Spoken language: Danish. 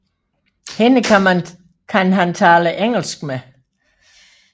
Hende kan han tale engelsk med